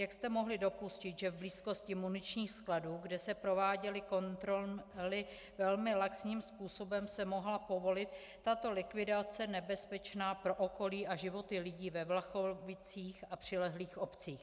Jak jste mohli dopustit, že v blízkosti muničních skladů, kde se prováděly kontroly velmi laxním způsobem, se mohla povolit tato likvidace nebezpečná pro okolí a životy lidí ve Vlachovicích a přilehlých obcích?